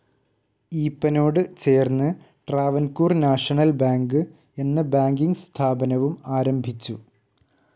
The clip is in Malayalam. ഈപ്പനോട് ചേർന്ന് ട്രാവൻകൂർ നാഷണൽ ബാങ്ക്‌ എന്ന ബാങ്കിങ്‌ സ്ഥാപനവും ആരംഭിച്ചു.